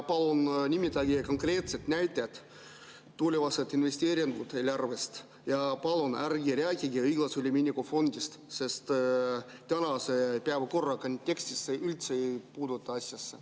Palun nimetage konkreetsed näited, tulevased investeeringud eelarvest ja palun ärge rääkige õiglase ülemineku fondist, sest tänase päevakorra kontekstis ei puutu see üldse asjasse.